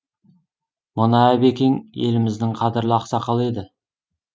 мына әбекең еліміздің қадірлі ақсақалы еді